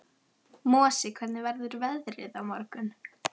Mosi, hvernig verður veðrið á morgun?